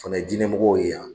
O fana ye dinɛ mɔgɔw ye yan.